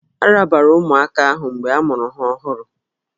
A rabara ụmụaka ahụ mgbe a mụrụ ha ọhụrụ